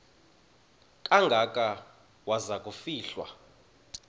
kangaka waza kufihlwa